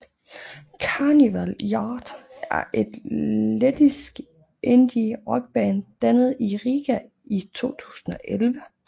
Carnival Youth er et lettisk indie rockband dannet i Riga i 2011